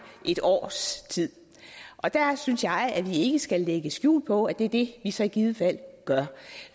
et års tid der synes jeg at vi ikke skal lægge skjul på at det er det vi så i givet fald gør